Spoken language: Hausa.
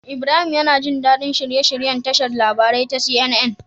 Ibrahim yAna jin dadi shirye shiryen tashar labarai ta CNN